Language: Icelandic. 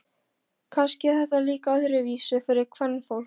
Kannski er þetta líka öðruvísi fyrir kvenfólk.